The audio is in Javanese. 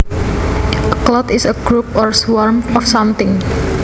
A cloud is a group or swarm of something